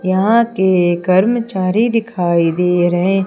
यहां के कर्मचारी दिखाई दे रहे--